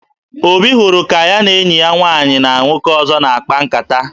Obi hụrụ ka enyi ya nwaanyị na nwoke ọzọ na-akpa nkata